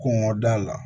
Kɔngɔ da la